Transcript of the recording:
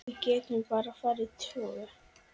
Við getum bara farið tvö.